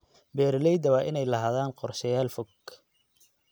Beeralayda waa inay lahaadaan qorshayaal fog.